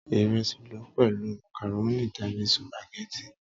Ìresí lọ pẹ̀lú màkàrónì tàbí Sùpàgẹ́tì.